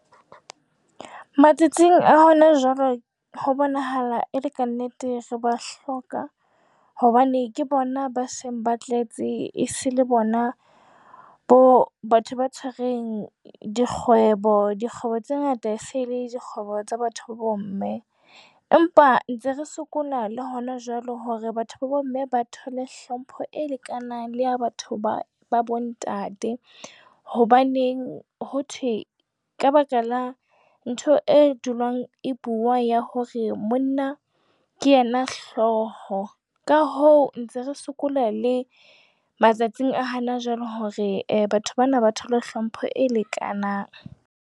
Matsatsing a hona jwale ho bonahala e le ka nnete re ba hloka hobane ke bona ba seng ba tletse, e se le bona bo batho ba tshwereng dikgwebo, dikgwebo tse ngata se le dikgwebo tsa batho ba bomme empa ntse re sokola le hona jwale hore batho ba bomme ba thole hlompho e lekanang le ya batho ba bontate. Hobaneng ho thwe ka baka la ntho e dulang e bua ya hore monna ke yena hlooho ka hoo ntse re sokola le matsatsing a hana jwale hore batho bana ba thole hlompho e lekanang.